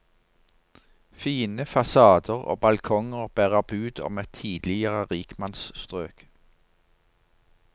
Fine fasader og balkonger bærer bud om et tidligere rikmannsstrøk.